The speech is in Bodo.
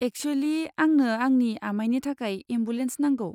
एकसुयेलि, आंनो आंनि आमाइनि थाखाय एम्बुलेन्स नांगौ।